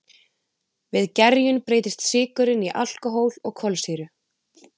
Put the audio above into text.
við gerjun breytist sykurinn í alkóhól og kolsýru